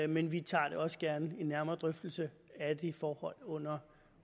men vi tager da også gerne en nærmere drøftelse af de forhold under